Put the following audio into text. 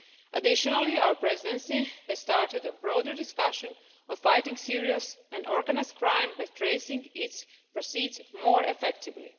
Additionally, our Presidency has started a broader discussion on fighting serious and organised crime by tracing its proceeds more effectively.